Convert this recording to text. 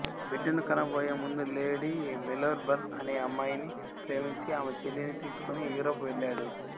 బిడ్డను కన బోయే ముందు లేడీ మేల్బోర్న్ అనే అమ్మాయిని ప్రేమించి ఆమె చెల్లెలిని తీసుకొని యూరప్ వెళ్లాడు